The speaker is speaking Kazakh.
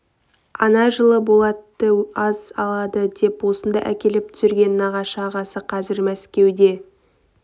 ана жылы болатты аз алады деп осында әкеліп түсірген нағашы ағасы қазір мәскеуде